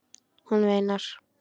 Hún veinar.